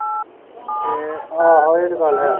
ਆਹੋ ਇਹ ਤਾ ਗੱਲ ਹੈ